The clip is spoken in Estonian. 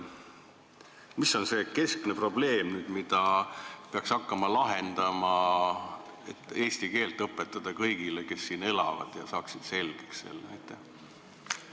Mis on see keskne probleem, mida peaks hakkama lahendama, et saaks eesti keelt õpetada kõigile, kes siin elavad, ja just nii, et nad saaksid selle selgeks?